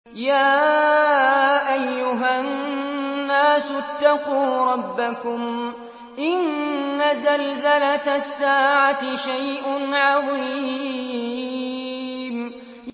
يَا أَيُّهَا النَّاسُ اتَّقُوا رَبَّكُمْ ۚ إِنَّ زَلْزَلَةَ السَّاعَةِ شَيْءٌ عَظِيمٌ